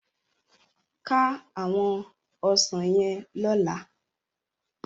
Ká áwòn òsán yèn lòlá